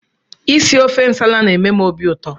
Isi ofe nsala na-eme m obiụtọ